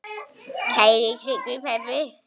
Kæri Tryggvi pabbi.